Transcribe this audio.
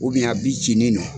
a cini nɔ.